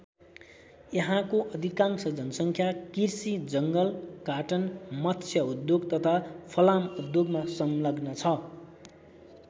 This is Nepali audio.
यहाँको अधिकांश जनसङ्ख्या कृषि जङ्गल काटन मत्स्य उद्योग तथा फलाम उद्योगमा संलग्न छ।